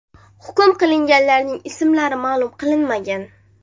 Hukm qilinganlarning ismlari ma’lum qilinmagan.